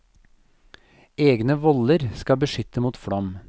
Egne voller skal beskytte mot flom.